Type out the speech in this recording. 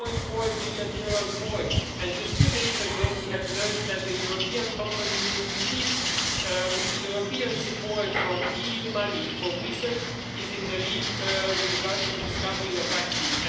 4.4 billion more and just two days ago, we learned that the European company which received European support from EU money for research is in the lead with regards to discovering a vaccine